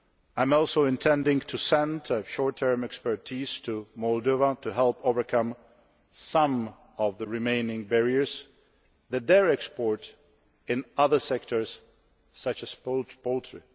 I am also intending to send short term expertise to Moldova to help overcome some of the remaining barriers faced by their exports in other sectors, such as poultry.